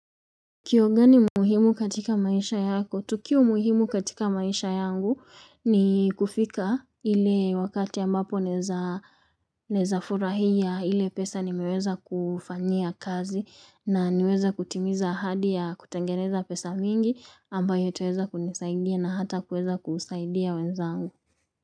Kweo gani muhimu katika maisha yako? Tukio muhimu katika maisha yangu ni kufika ile wakati ambapo naeza furahia ile pesa nimeweza kufanyia kazi na niweza kutimiza ahadi ya kutengeneza pesa mingi ambayo itaweza kunisaidia na hata kuweza kusaidia wenzangu.